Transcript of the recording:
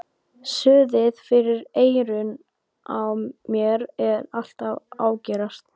Suðið fyrir eyrunum á mér er alltaf að ágerast.